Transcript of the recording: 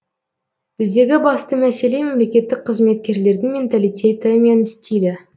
біздегі басты мәселе мемлекеттік қызметкерлердің менталитеті мен стилі